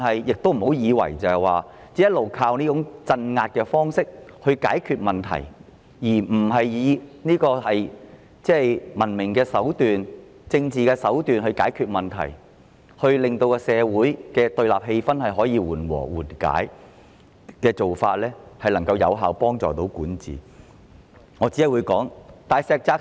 政府不要以為可以一直依靠這種鎮壓的方式來解決問題，而不採用文明及政治手段來解決問題，令社會的對立氣氛得以緩解，這樣才是有效的管治方式。